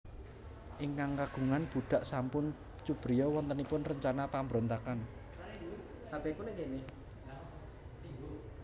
Ingkang kagungan budhak sampun cubriya wontenipun rencana pambrontakan